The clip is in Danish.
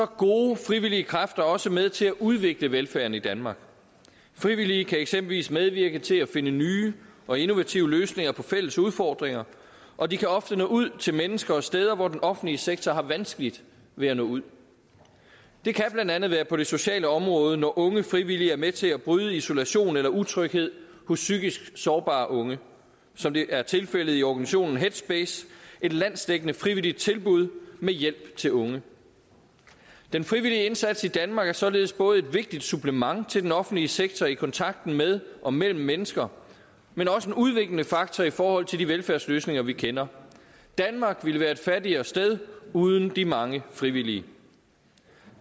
gode frivillige kræfter også med til at udvikle velfærden i danmark frivillige kan eksempelvis medvirke til at finde nye og innovative løsninger på fælles udfordringer og de kan ofte nå ud til mennesker og steder hvor den offentlige sektor har vanskeligt ved at nå ud det kan blandt andet være på det sociale område når unge frivillige er med til at bryde isolation eller utryghed hos psykisk sårbare unge som det er tilfældet i organisationen headspace et landsdækkende frivilligt tilbud med hjælp til unge den frivillige indsats i danmark er således både et vigtigt supplement til den offentlige sektor i kontakten med og mellem mennesker men også en udviklende fakta i forhold til de velfærdsløsninger vi kender danmark ville være et fattigere sted uden de mange frivillige